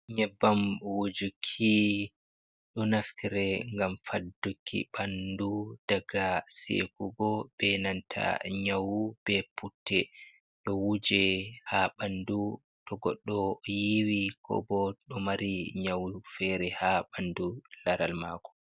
Yebbam wujuki ɗon naftire ngam fadduki ɓanndu daga seekugo be nanta nyawu ,be putte ɗo wuje ha banndu to goɗɗo yiiwi, ko bo ɗo mari nyawu feere ha ɓanndu laral maako.